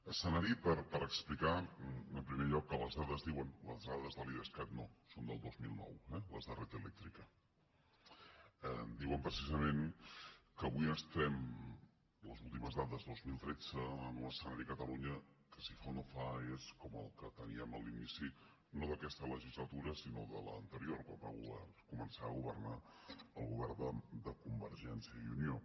escenari per explicar en primer lloc que les dades diuen les dades de l’idescat no són del dos mil nou eh les de red eléctrica precisament que avui estem les últimes dades dos mil tretze en un escenari a catalunya que si fa o no fa és com el que teníem a l’inici no d’aquesta legislatura sinó de l’anterior quan va començar a governar el govern de convergència i unió